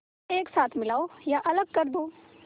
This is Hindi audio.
एक साथ मिलाओ या अलग कर दो